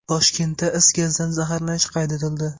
Toshkentda is gazidan zaharlanish qayd etildi.